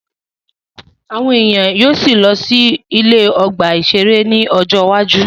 Àwọn èèyàn á sì lọ sí ọgbà-ìṣeré ní ọjọ́ iwájú